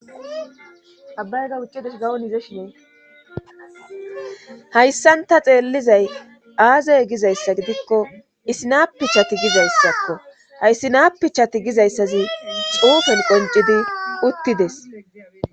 abbayga ucidesh gawon ize shinee hayssanta xeellizay aazay gizayssa gidikko isi naapichati gizayssakko hayssi naapichati gizayssazi xuufen qoncidi uttides